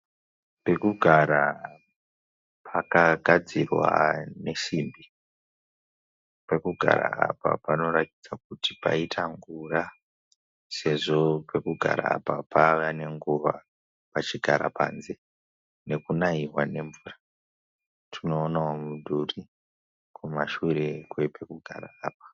Pekugara pakagadzirwa nesimbi, pekugara apa panoratidza kuti paita ngura, sezvo pekugara apa pava ne nguva pachigara panze nekunaiwa nemvura. Tinoonawo mudhuri kumashure kwepekugara apa.